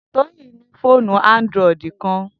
Toyin ni foonu Android kan.